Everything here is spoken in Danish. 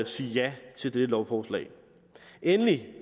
sige ja til dette lovforslag endelig